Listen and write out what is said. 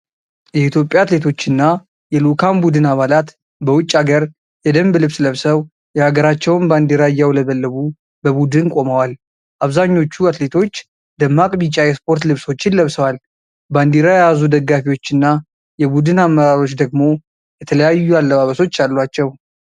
የኢትዮጵያ አትሌቶችና የልዑካን ቡድን አባላት በውጭ አገር የደንብ ልብስ ለብሰው፣ የሀገራቸውን ባንዲራ እያውለበለቡ በቡድን ቆመዋል። አብዛኞቹ አትሌቶች ደማቅ ቢጫ የስፖርት ልብሶችን ለብሰዋል፤ ባንዲራ የያዙ ደጋፊዎችና የቡድን አመራሮች ደግሞ የተለያዩ አለባበሶች አሏቸው።